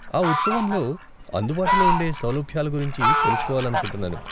ఆ ఉత్సవంలో అందుబాటులో ఉండే సౌలభ్యాల గురించి తెలుసుకోవాలనుకుంటున్నాను.